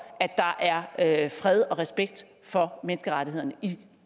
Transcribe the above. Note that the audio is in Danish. at der er fred og respekt for menneskerettighederne i